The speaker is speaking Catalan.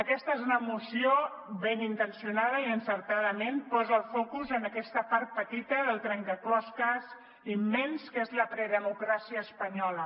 aquesta és una moció ben intencionada i encertadament posa el focus en aquesta part petita del trencaclosques immens que és la predemocràcia espanyola